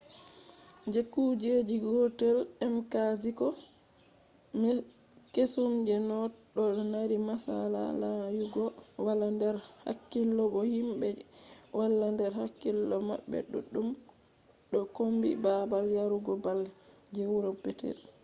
je kuje gotel mkziko kesum je noth ɗo mari masala lanyugo wala nder hakkilo bo himɓe je wala nder hakkilo maɓɓe duɗɗum ɗo kombi babal yarugo bal je wuro petel